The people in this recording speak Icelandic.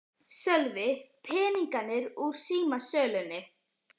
Sölvi: Peningarnir úr símasölunni?